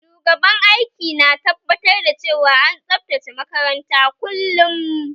Shugaban aiki na tabbatar da cewa an tsabtace makaranta kullum